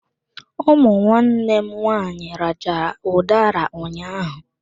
Ụmụ nwanne m nwaanyị rachaa udara ụnyaahụ.